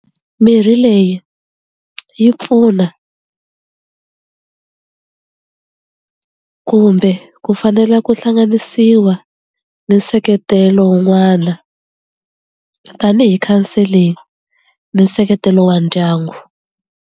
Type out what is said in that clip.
Mirhi leyi yi pfuna kumbe ku fanela ku hlanganisiwa ni nseketelo un'wana tanihi counseling ni nseketelo wa ndyangu.